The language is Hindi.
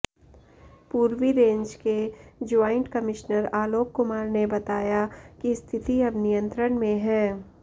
पूर्वी रेंज के ज्वाइंट कमिश्नर आलोक कुमार ने बताया कि स्थिति अब नियंत्रण में है